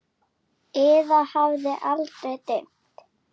Eða hafði aldrei dimmt?